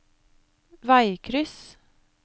veikryss